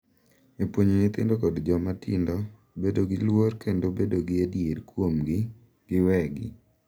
E puonjo nyithindo kod joma tindo bedo gi luor kendo bedo gi adier kuomgi giwegi.